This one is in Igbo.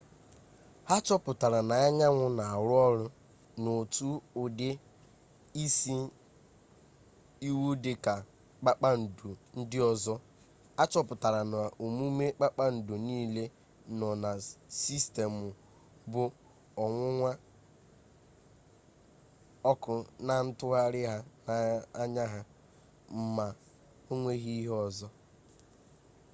ha chọpụtara na anyanwụ na-arụ ọrụ n'otu ụdị isi iwu dịka kpakpandu ndị ọzọ a chọpụtara na omume kpakpandu niile nọ na sistemụ bụ onwunwu ọkụ na ntụgharị ha na-anya ha ma ọ nweghị ihe ọzọ